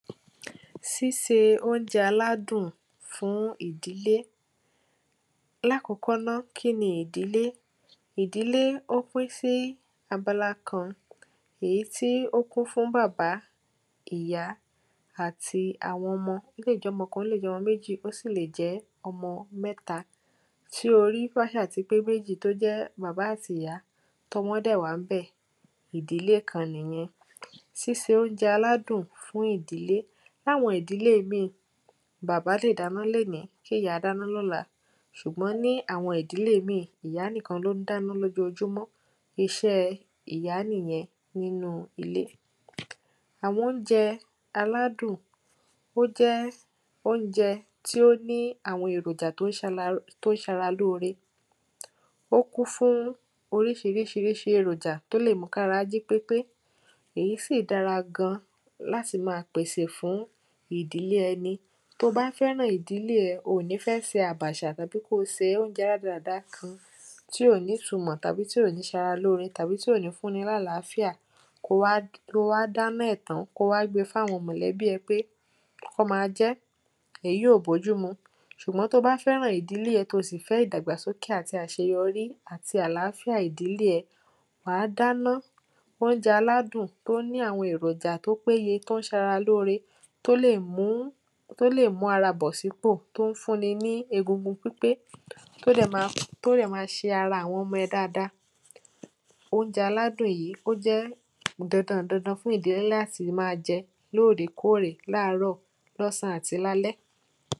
síse oúnjẹ aládùn fún ìdílé láàkọ́kọ́ ná kíni ìdílé ìdílé ó pín sí abala kan, èyí tí ó kún fún bàbá, ìyá àti àwọn ọmọ, ó lè jọ́mọ kan, ó lè jọ́mọ méjì, ó sì lè jẹ́ ọmọ mẹ́ta tí orí bá ṣáà ti pé méjì tó jẹ́ bàbá àtìyá tọ́mọ dẹ̀ wà ń bẹ̀ ìdílé kan nìyẹn síse óúnjẹ aládùn fún ìdílé, láwọn ìdílé míì, bàbá lè dáná lénìí kíìyá dáná lọ́la ṣùgbọ́n ní àwọn ìdílé míì ìyá nìkan ló ń dáná lójoojúmọ́ iṣẹ́ẹ ìyá nìyẹn nínúu ilé. àwọn oúnjẹ aládùn ó jẹ́ oúnjẹ tí ó ní àwọn èròjà tó ń ṣara lóore ó kún fún oríṣiríṣiríṣìí èròjà tó lè mú kára jí pépé èyí sì dára gan láti máa pèsè fún ìdílé ẹni to bá fẹ́ràn ìdílé ẹ, oò ní fẹ́ fi àbàṣà tàbí kóo se oúnjẹ rádaràda kan tí ò nítumọ̀ tàbí tí ò ní ṣara lóore tàbí tí ò ní fún ni lálàáfíà kóo wá dáná ẹ̀ tán kóo wá gbe fáwọn mọ̀lẹ́bí ẹ pé kọ́n máa jẹ́ èyí ò bòjúmu ṣùgbọ́n to bá fẹ́ràn ìdílé ẹ to sì fẹ́ ìdàgbà sókè àti àṣeyọrí àti àláfíà ìdílé ẹ wàá dáná, oúnjẹ aládùn tó ní àwọn èròjà tó péye tó ń ṣara lóore tó lè mú ara bọ̀ sípò tó ń fún ni ní egungun pípé tó dẹ̀ máa ṣe ara àwọn ọmọ ẹ dáadáa. oúnjẹ aládùn yìí ó jẹ́ dandan ǹ dandan fún ìdílé láti máa jẹ lóòrè kóòrè láàárọ̀, lọ́sàn án àti lálẹ́